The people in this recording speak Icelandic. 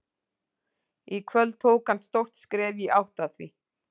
Í kvöld tók hann stórt skref í átt að því.